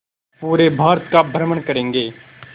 पूरे भारत का भ्रमण करेंगे